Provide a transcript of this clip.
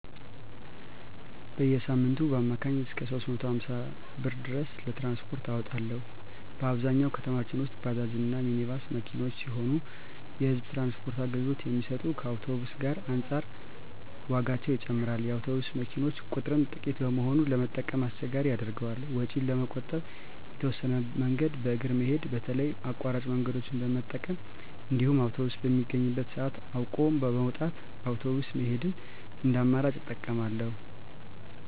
በየሳምንቱ በአማካኝ እስከ 350 ብር ድረስ ለትራንስፖርት አወጣለሁ። በአብዛኛው ከተማችን ውስጥ ባጃጅ እና ሚኒባስ መኪኖች ሲሆኑ የህዝብ ትራንስፖርት አገልግሎት የሚሰጡት ከአውቶብስ ዋጋ አንፃር ዋጋቸው ይጨምራል። የአውቶቡስ መኪኖች ቁጥርም ጥቂት በመሆኑ ለመጠቀም አስቸጋሪ ያደርገዋል። ወጪን ለመቆጠብ የተወሰነ መንገድን በእግር መሄድ በተለይ አቋራጭ መንገደኞችን በመጠቀም እንዲሁም አውቶብስ የሚገኝበትን ሰአት አውቆ በመውጣት በአውቶብስ መሄድን እንደ አማራጭ እጠቀማለሁ።